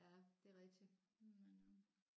Ja det er rigtigt